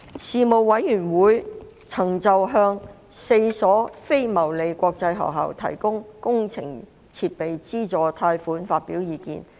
事務委員會曾就向4所非牟利國際學校提供工程設備資助貸款發表意見。